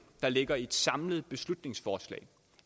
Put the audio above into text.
der ligger i et samlet beslutningsforslag